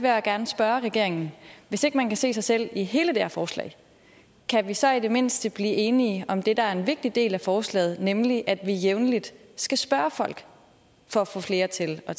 jeg gerne spørge regeringen hvis ikke man kan se sig selv i hele det her forslag kan vi så i det mindste blive enige om det der er en vigtig del af forslaget nemlig at vi jævnligt skal spørge folk for at få flere til at